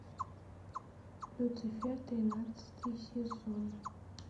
люцифер тринадцатый сезон